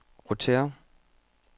rotér